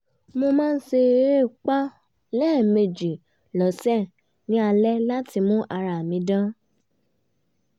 mo máa ṣí èépá lẹ́ẹ̀mejì lọ́sẹ̀ ní àṣálẹ́ láti mú ara dán